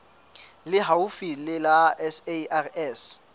le haufi le la sars